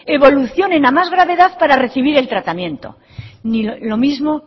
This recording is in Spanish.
evolucionen a más gravedad para recibir el tratamiento lo mismo